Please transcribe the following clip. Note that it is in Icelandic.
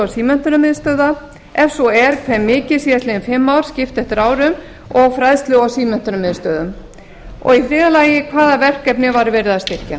símenntunarmiðstöðva ef svo er hve mikið síðastliðin fimm ár skipt eftir árum og fræðslu og símenntunarmiðstöðvum þriðja hvaða verkefni var verið að styrkja